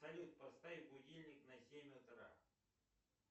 салют поставь будильник на семь утра